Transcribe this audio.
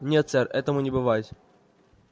нет сэр этому не бывать